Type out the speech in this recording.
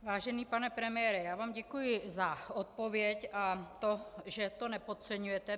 Vážený pane premiére, já vám děkuji za odpověď a to, že to nepodceňujete.